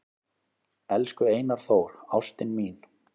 """Elsku Einar Þór, ástin mín,"""